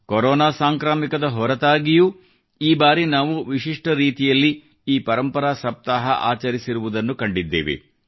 corona ಸಾಂಕ್ರಾಮಿಕದ ಹೊರತಾಗಿಯೂ ಈ ಬಾರಿ ವಿಶಿಷ್ಟ ರೀತಿಯಲ್ಲಿ ಈ ಪರಂಪರಾ ಸಪ್ತಾಹ ಆಚರಿಸಿರುವುದನ್ನು ನಾವು ಕಂಡಿದ್ದೇವೆ